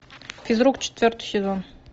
физрук четвертый сезон